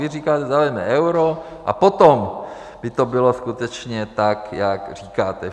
Vy říkáte: Zaveďme euro a potom by to bylo skutečně tak, jak říkáte.